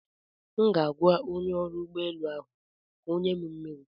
M ga-agwa onye ọrụ ụgbọelu ahụ ka ọ nye m mmiri.